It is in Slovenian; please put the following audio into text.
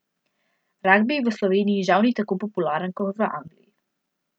Ragbi v Sloveniji žal ni tako popularen kot v Angliji.